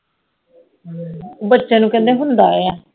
ਬਚੇ ਨੂੰ ਕਹਿੰਦੇ ਹੁੰਦਾ ਆ